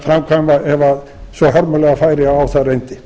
framkvæma ef svo hörmulega færi að á þær reyndi